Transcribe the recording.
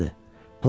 çox yaxşıdır.